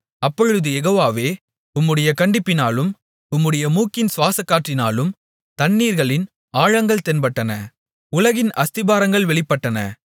அப்பொழுது யெகோவாவே உம்முடைய கண்டிப்பினாலும் உம்முடைய மூக்கின் சுவாசக்காற்றினாலும் தண்ணீர்களின் ஆழங்கள் தென்பட்டன உலகின் அஸ்திபாரங்கள் வெளிப்பட்டன